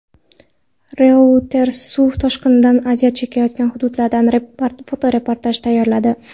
Reuters suv toshqinidan aziyat chekayotgan hududlardan fotoreportaj tayyorladi .